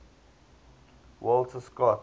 walter scott